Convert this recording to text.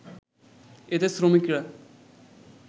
এতে শ্রমিকরা